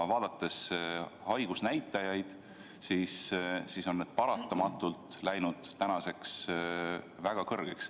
Haigusnäitajaid vaadates näeme, et need on läinud väga kõrgele.